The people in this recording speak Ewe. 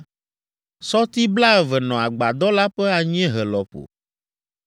Sɔti blaeve nɔ agbadɔ la ƒe anyiehe lɔƒo.